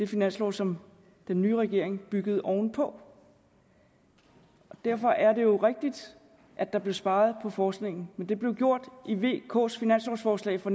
finanslov som den nye regering byggede oven på derfor er det jo rigtigt at der blev sparet på forskningen men det blev gjort i vks finanslovforslag for